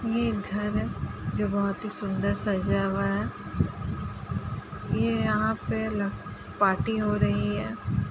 ये घर है जो बोहोत सुन्दर सजा हुआ है। ये यहां पे ल पार्टी हो रही है।